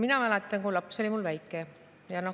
Mina mäletan seda, kui mu laps oli väike.